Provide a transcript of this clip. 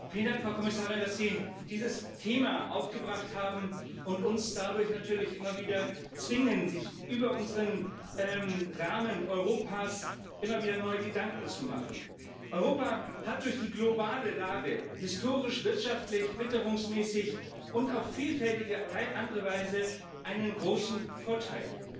Frau Präsidentin! Vielen Dank, Frau Kommissarin, dass Sie dieses Thema aufgebracht haben und uns dadurch natürlich immer wieder zwingen, uns über unseren Rahmen Europas immer wieder neue Gedanken zu machen. Europa hat durch die globale Lage historisch, wirtschaftlich, witterungsmäßig und auf vielfältige andere Weise einen großen Vorteil.